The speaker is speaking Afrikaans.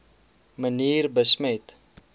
manier besmet